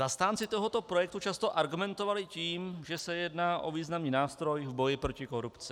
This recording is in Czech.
Zastánci tohoto projektu často argumentovali tím, že se jedná o významný nástroj v boji proti korupci.